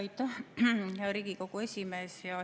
Aitäh, hea Riigikogu esimees!